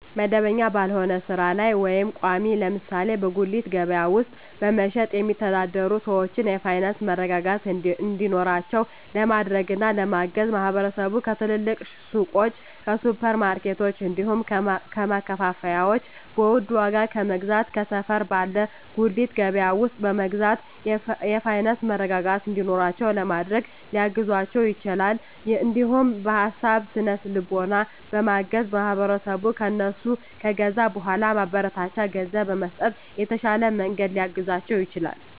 መደበኛ ባልሆነ ስራ ላይ ወይም ቋሚ (ለምሳሌ በጉሊት ገበያ ውስጥ በመሸጥ የሚተዳደሩ ሰዎችን የፋይናንስ መረጋጋት እንዲኖራቸው ለማድረግና ለማገዝ ማህበረሰቡ ከትልልቅ ሱቆች፣ ከሱፐር ማርኬቶች፣ እንዲሁም ከማከፋፈያዎች በውድ ዋጋ ከመግዛት ከሰፈር ባለ ጉሊት ገበያ ውስጥ በመግዛት የፋይናንስ መረጋጋት እንዲኖራቸው ለማድረግ ሊያግዛቸው ይችላል። እንዲሁም በሀሳብ በስነ ልቦና በማገዝ ማህበረሰቡ ከእነሱ ከገዛ በኃላ ማበረታቻ ገንዘብ በመስጠት በተሻለ መንገድ ሊያግዛቸው ይችላል።